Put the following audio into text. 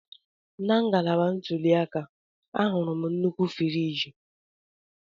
Na ngalaba ntuli aka, ahụrụ m nnukwu friji.